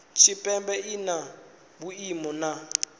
tshipembe i na vhuimo na